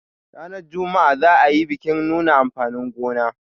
ranar Juma'a za a yi bikin nuna amfanin gona